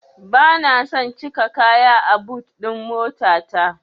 Bana son cika kaya a but ɗin motata.